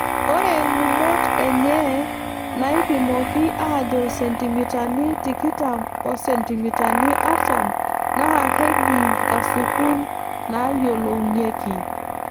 Ore ngumot enye naaipimoki aajo sentimitani tikitam o sentimitani artam naa ketii nkasukun naayiolounyeki.